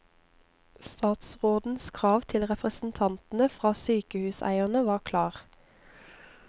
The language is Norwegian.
Statsrådens krav til representantene for sykehuseierne var klar.